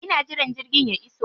Ina jiran jirgin ya iso.